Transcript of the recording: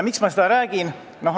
Miks ma seda räägin?